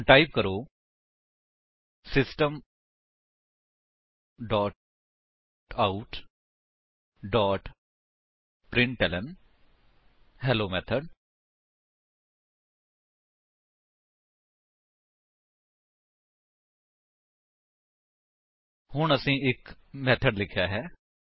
ਹੁਣ ਟਾਈਪ ਕਰੋ system dot out dot println hello method ਹੁਣ ਅਸੀਂ ਇੱਕ ਮੇਥਡ ਲਿਖਿਆ ਹੈ